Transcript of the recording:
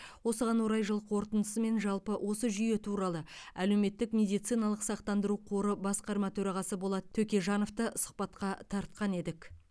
осыған орай жыл қорытындысы мен жалпы осы жүйе туралы әлеуметтік медициналық сақтандыру қоры басқарма төрағасы болат төкежановты сұхбатқа тартқан едік